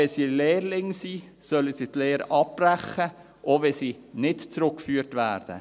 Wenn es aber Lehrlinge sind, sollen sie die Lehre abbrechen, auch wenn sie nicht zurückgeführt werden.